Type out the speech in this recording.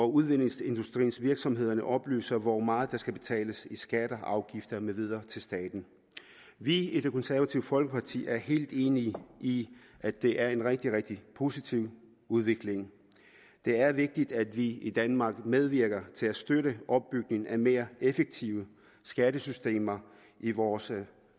udvindingsindustriens virksomheder oplyser hvor meget der skal betales i skatter og afgifter med videre til staten vi i det konservative folkeparti er helt enige i at det er en rigtig rigtig positiv udvikling det er vigtigt at vi i danmark medvirker til at støtte opbygningen af mere effektive skattesystemer i vores